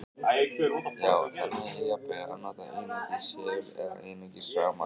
Já, það nægir jafnvel að nota einungis segul eða einungis rafmagn.